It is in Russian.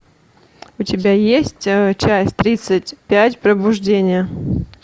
у тебя есть часть тридцать пять пробуждение